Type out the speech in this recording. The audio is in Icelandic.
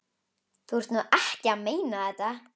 Þú ert nú ekki að meina þetta!